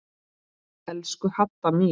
Elsku Hadda mín.